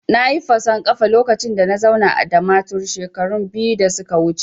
Nayi fason kafa lokacin da na zauna a Damaturu shekaru biyu da suka wuce